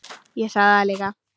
Ég sagði það líka.